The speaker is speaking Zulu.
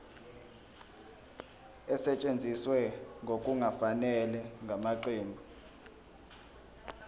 esetshenziswe ngokungafanele ngamaqembu